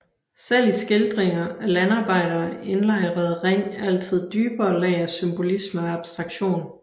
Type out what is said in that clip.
Selv i skildringer af landarbejdere indlejrede Ring altid dybere lag af symbolisme og abstraktion